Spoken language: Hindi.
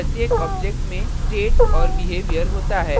प्रत्येक object में state और behavior होता है